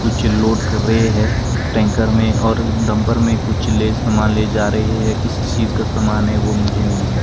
कुछ लोड कर रहे है टैंकर में और डंपर में कुछ ले समान ले जा रहे है किस चीज का समान है वो मुझे नहीं है --